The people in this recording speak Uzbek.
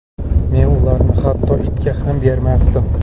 Men ularni hatto itga ham bermasdim .